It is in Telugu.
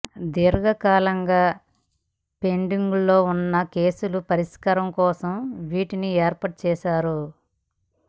దీర్ఘకాలంగా పెండింగులో ఉన్న కేసుల పరిష్కారం కోసం వీటిని ఏర్పాటు చేస్తున్నారు